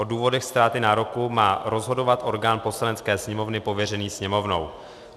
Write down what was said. O důvodech ztráty nároku má rozhodovat orgán Poslanecké sněmovny pověřený Sněmovnou.